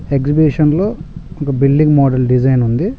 Exhibition లో ఒక building model design ఉంది.